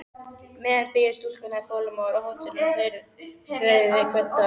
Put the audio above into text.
meðan biðu stúlkurnar þolinmóðar á hótelinu og þreyðu hvern dag.